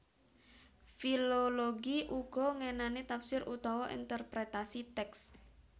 Filologi uga ngenani tafsir utawa interpretasi tèks